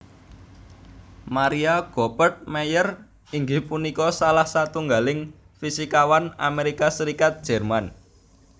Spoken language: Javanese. Maria Goeppert Mayer inggih punika salah satunggaling fisikawan Amerika Serikat Jerman